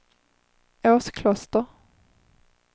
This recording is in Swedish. Åskloster